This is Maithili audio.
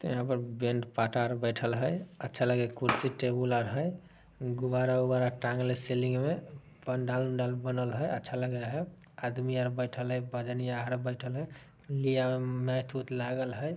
--ते यहाँ पर बैंड पाटा आर बैठल हई अच्छा लगे कुर्सी टेबुल आर हई गुब्बारा- वुब्बारा टांगले सीलिंग में पंडाल-वंडाल बनल है अच्छा लगे है आदमी आर बैठल हई पजनिया आर बैठल हई